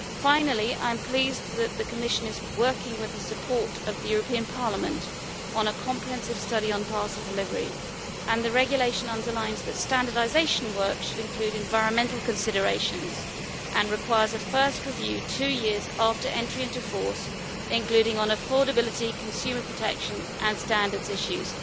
Finally, I am pleased that the Commission is working with the support of Parliament on a comprehensive study on parcel delivery, and the regulation underlines that standardisation work should include environmental considerations and require a first review two years after entry into force, including on affordability, consumer protection and standards issues.